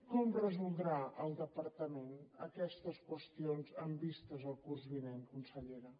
com resoldrà el departament aquestes qüestions amb vista al curs vinent consellera